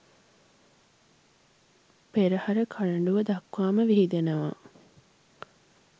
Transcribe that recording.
පෙරහර කරඬුව දක්වාම විහිදෙනවා.